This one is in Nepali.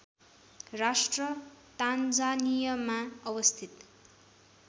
राष्ट्र तान्जानियामा अवस्थित